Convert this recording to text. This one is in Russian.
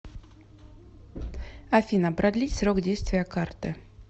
афина продлить срок действия карты